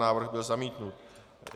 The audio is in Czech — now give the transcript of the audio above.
Návrh byl zamítnut.